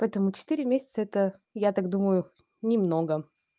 поэтому четыре месяца это я так думаю немного